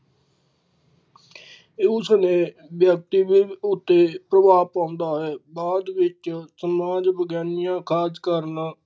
ਉਸਨੇ ਵਿਆਕਤੀਬਿੰਬ ਉੱਤੇ ਪ੍ਰਭਾਵ ਪਾਉਂਦਾ ਹੈ ਬਾਅਦ ਵਿੱਚ ਸਮਾਜ ਵਿਗਿਆਨੀਆ ਖਾਸ ਕਰਨਾ